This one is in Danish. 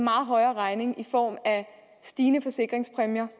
højere regning i form af stigende forsikringspræmier